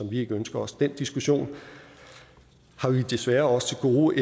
vi ikke ønsker os den diskussion har vi desværre også til gode